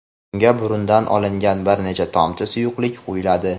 unga burundan olingan bir necha tomchi suyuqlik qo‘yiladi.